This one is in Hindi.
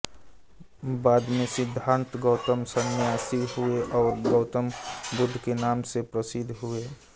बाद में सिद्धार्थ गौतम संन्यासी हुए और गौतम बुद्ध के नाम से प्रसिद्ध हुए